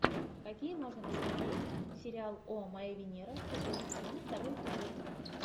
какие можно посмотреть сериал о моя венера шестой сезон второй эпизод